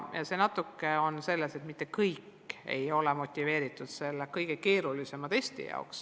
Ja nii ei ole mitte kõik motiveeritud seda kõige keerulisemat testi tegema.